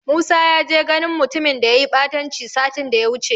Musa ya je ganin mutumin da yayi ɓatanci satin daya wuce.